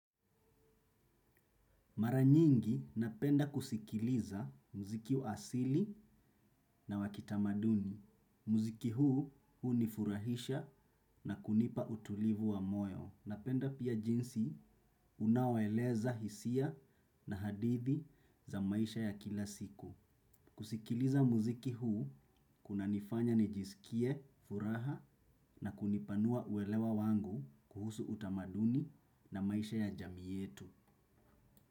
Mara nyingi napenda kusikiliza muziki wa asili na wakitamaduni. Muziki huu, huu ni furahisha na kunipa utulivu wa moyo. Napenda pia jinsi unaoeleza hisia na hadithi za maisha ya kila siku. Kusikiliza muziki huu, kuna nifanya nijisikie, furaha na kunipanua uelewa wangu kuhusu utamaduni na maisha ya jamii yetu.